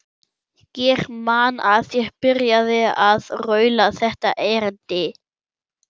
Ég man að ég byrjaði á að raula þetta erindi: